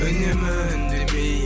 үнемі үндемей